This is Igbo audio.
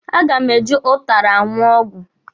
A ga m e ji ụtara aṅụ ọgwụ.